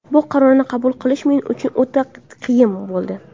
Bu qarorni qabul qilish men uchun o‘ta qiyin bo‘ldi.